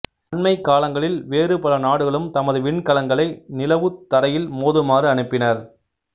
அண்மைக் காலங்களில் வேறு பல நாடுகளும் தமது விண்கலங்களை நிலவுத் தரையில் மோதுமாறு அனுப்பினர்